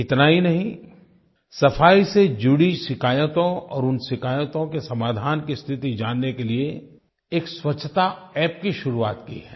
इतना ही नहीं सफाई से जुड़ी शिकायतों और उन शिकायतों के समाधान की स्थिति जानने के लिये एक स्वच्छता App की शुरुआत की है